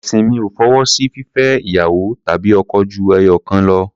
Ẹ̀sìn mi ò fọwọ́ sí fífẹ́ ìyàwó tàbí ọkọ ju ẹyọ̀kan lọ.